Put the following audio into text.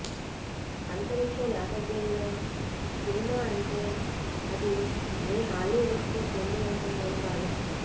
అంతరిక్షం నేపథ్యంలో సినిమా అంటే అది ఏ హాలీవుడ్కో చెంది ఉంటుంది అని భావిస్తాం